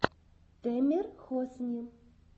тэмер хосни